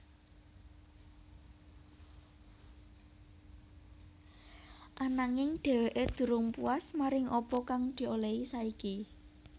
Ananging dheweké durung puas maring apa kang diolihi saiki